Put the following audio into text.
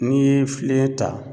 N'i ye file ta